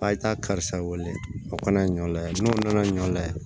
A ye taa karisa wele a kana ɲɔ layɛ n'o nana ɲɔ lajɛ